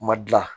Ma dilan